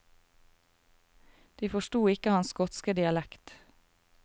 De forsto ikke hans skotske dialekt.